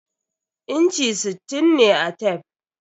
Inchi sittin ne a tef.